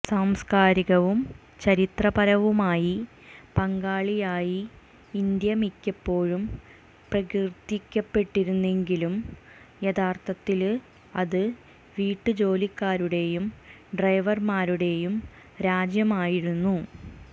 സാംസ്കാരികവും ചരിത്രപരവുമായി പങ്കാളിയായി ഇന്ത്യ മിക്കപ്പോഴും പ്രകീര്ത്തിക്കപ്പെട്ടിരുന്നെങ്കിലും യഥാര്ത്ഥത്തില് അത് വീട്ടുജോലിക്കാരുടെയും ഡ്രൈവര്മാരുടെയും രാജ്യമായിരുന്നു